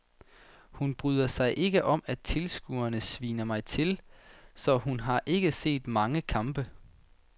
Hun bryder sig ikke om at tilskuerne sviner mig til, så hun har ikke set så mange kampe.